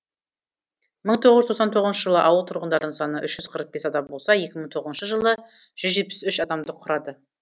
мың тоғыз жүз тоқсан тоғызыншы жылы ауыл тұрғындарының саны үш жүз қырық бес адам болса екі мың тоғызыншы жылы жүз жетпіс үш адамды құрады